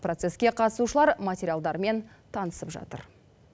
процеске қатысушылар материалдармен танысып жатыр